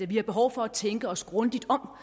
vi har behov for at tænke os grundigt om